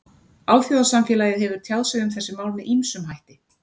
Alþjóðasamfélagið hefur tjáð sig um þessi mál með ýmsum hætti.